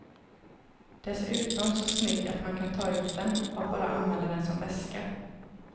Dessutom så snygg att man kan ta ut den och bara använda den som väska.